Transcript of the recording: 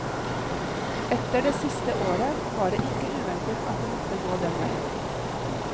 Etter det siste året var det ikke uventet at det måtte gå den veien.